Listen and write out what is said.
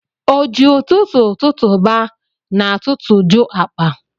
O ji ụtụtụ tụtụba n'atụtụjụ akpa.